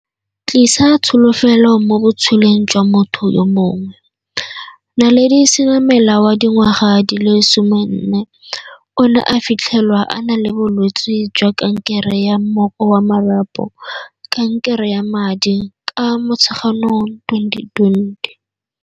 Tlisa tsholofelo mo botshelong jwa motho yo mongwe. Naledi Senamela wa dingwa ga di le 14 o ne a fitlhelwa a na le bolwetse jwa kankere ya mmoko wa marapo, kankere ya madi, ka Motsheganong 2020.